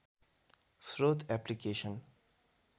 स्रोत एप्लिकेसन